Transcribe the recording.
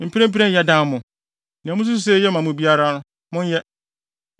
Mprempren yɛdan mo. Nea mususuw sɛ eye ma mo biara no, monyɛ.”